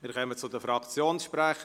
Wir kommen zu den Fraktionssprechern.